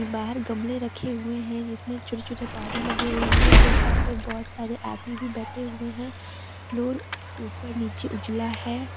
बाहर गमले रखे हुए है जिसमें छोटे छोटे पौधे लगे हुए है अंदर सोफा पे बहुत सारे आदमी भी बैठे हुए है फ्लोर ऊपर नीचे उजला है।